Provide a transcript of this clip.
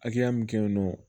Hakɛya min kɛ yen nɔ